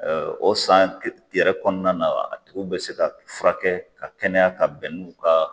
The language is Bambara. O san yɛrɛ kɔnɔna na a tigiw bɛ se ka fura kɛ ka kɛnɛya ka bɛn n'u ka